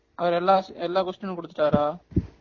அவர் எல்லா எல்லா question குடுத்துட்டாறா